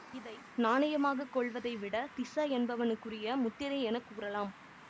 இதை நாணயமாக கொள்வதைவிட திஸ என்பவனுக்குரிய முத்திரை என கூறலாம்